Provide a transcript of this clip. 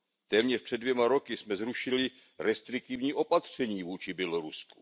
Téměř před dvěma roky jsme zrušili restriktivní opatření vůči Bělorusku.